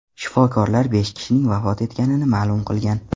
Shifokorlar besh kishining vafot etganini ma’lum qilgan.